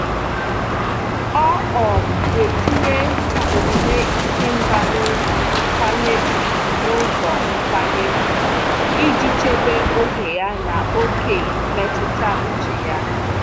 Ọ́ um nà-etinye n'omume ísí mbá n’ụ́zọ́ nkwanye ùgwù n’ụ́zọ́ nkwanye ùgwù iji chèbé oge ya na ókè mmetụta úchè ya.